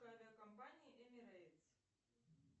авиакомпании эмирейтс